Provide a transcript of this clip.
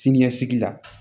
Siniɲɛsigi la